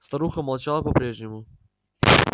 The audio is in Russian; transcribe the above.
старуха молчала по прежнему